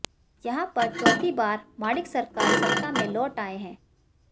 यहां पर चौथी बार माणिक सरकार सत्ता में लौट आए हैं